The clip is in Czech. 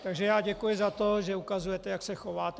Takže já děkuji za to, že ukazujete, jak se chováte.